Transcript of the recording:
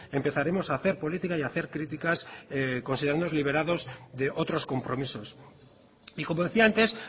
empezaremos a hacer política y a hacer críticas considerándonos liberados de otros compromisos y como decía antes